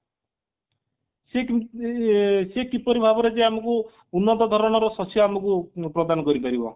ସେ କିପରି ଭାବରେ ଯେ ଆମକୁ ଉନ୍ନତ ଧରଣର ଶସ୍ୟ ଆମକୁ ପ୍ରଦାନ କରି ପାରିବ